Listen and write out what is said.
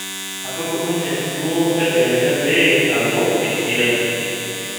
Atudumunye duo tadekenya pee alo esia .